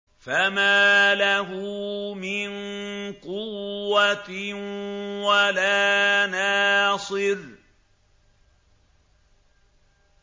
فَمَا لَهُ مِن قُوَّةٍ وَلَا نَاصِرٍ